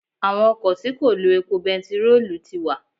Àwọn ọkọ̀ tí kò lo epo bentiroolu ti wà.